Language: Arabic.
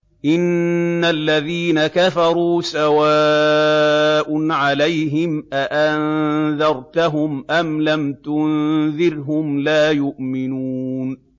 إِنَّ الَّذِينَ كَفَرُوا سَوَاءٌ عَلَيْهِمْ أَأَنذَرْتَهُمْ أَمْ لَمْ تُنذِرْهُمْ لَا يُؤْمِنُونَ